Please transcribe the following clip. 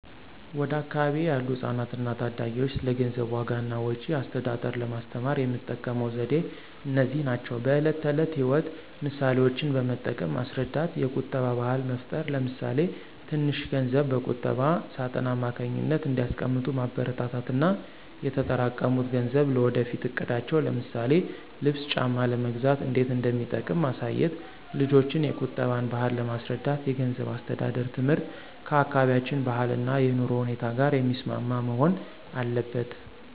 ወደ አካባቢዬ ያሉ ህጻናትና ታዳጊዎች ስለ ገንዘብ ዋጋ እና ወጪ አስተዳደር ለማስተማር የምጠቀመው ዘዴዎች እነዚህ ናቸው፦ በዕለት ተዕለት ሕይወት ምሳሌዎችን በመጠቀም ማስረዳት የቁጠባ ባህል መፍጠር ለምሳሌ ትንሽ ገንዘብ በቁጠባ ሳጥን አማካኝነት እንዲያስቀምጡ ማበረታታት እና የተጠራቀሙት ገንዘብ ለወደፊት እቅዳቸው ለምሳሌ ልብስ ጫማ ለመግዛት እንዴት እንደሚጠቅም ማሳየት። ልጆችን የቁጠባን ባህል ለማስረዳት የገንዘብ አስተዳደር ትምህርት ከአካባቢያችን ባህልና የኑሮ ሁኔታ ጋር የሚስማማ መሆን አለበት።